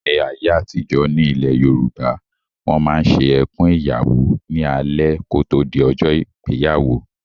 Ní ayé àtijọ́, ní ilẹ̀ Yorùbá, Wọ́n máa ń ṣe "Ẹkùn Ìyàwó" ní alẹ́ kò tó di ọjọ́ ìgbéyàwó